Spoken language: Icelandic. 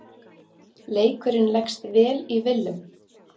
Leikurinn leggst vel í Willum.